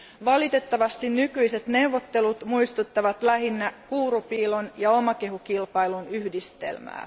Valitettavasti nykyiset neuvottelut muistuttavat lähinnä kuurupiilon ja omakehukilpailun yhdistelmää.